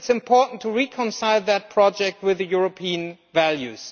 I think it is important to reconcile this project with European values.